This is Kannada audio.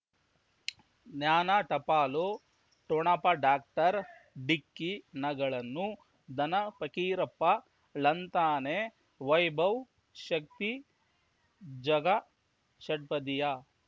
ಜ್ಞಾನ ಟಪಾಲು ಠೊಣಪ ಡಾಕ್ಟರ್ ಢಿಕ್ಕಿ ಣಗಳನು ಧನ ಫಕೀರಪ್ಪ ಳಂತಾನೆ ವೈಭವ್ ಶಕ್ತಿ ಝಗಾ ಷಟ್ಪದಿಯ